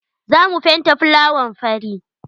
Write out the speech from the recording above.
Za mu fenta fulawan fari.